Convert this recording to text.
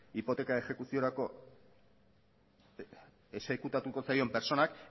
hipoteka exekuziorako exekutatuko zaion pertsonak